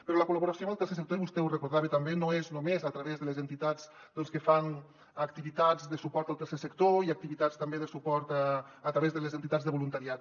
però la col·laboració amb el tercer sector i vostè ho recordava també no és només a través de les entitats que fan activitats de suport al tercer sector i activitats també de suport a través de les entitats de voluntariat